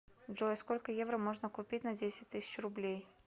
джой сколько евро можно купить на десять тысяч рублей